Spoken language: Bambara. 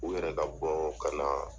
U yɛrɛ ka bɔ ka na